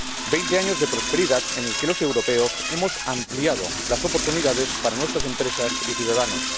Veinte años de prosperidad en los que los europeos hemos ampliado las oportunidades para nuestras empresas y ciudadanos.